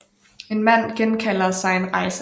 En mand genkalder sig en rejse